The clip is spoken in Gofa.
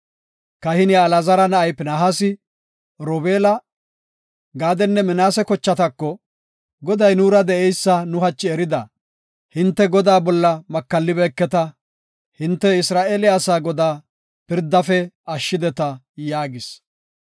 Kahiniya Alaazara na7ay Pinihaasi, Robeela, Gaadenne Minaase kochatako, “Goday nuura de7eysa nu hachi erida. Hinte Godaa bolla makallibeeketa. Hinte Isra7eele asaa Godaa pirdaafe ashshideta” yaagis.